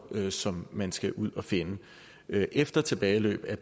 kr som man skal ud at finde efter tilbageløb af